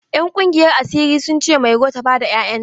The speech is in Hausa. Ƴan ƙungiyar asiri sun ce Mairo ta bada 'ya'yan ta.